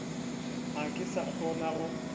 ga ke sa kgona go